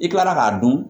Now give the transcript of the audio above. I kilala k'a dun